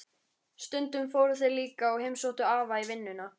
Stundum fóru þeir líka og heimsóttu afa í vinnuna.